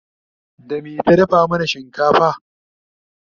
da me ta dafa mana shinkafa?